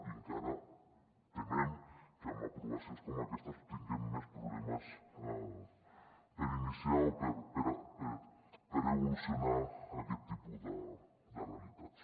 i encara temem que amb aprovacions com aquestes tinguem més problemes per iniciar o per evolucionar aquest tipus de realitats